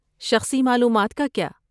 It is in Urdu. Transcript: شخصی معلومات کا کیا؟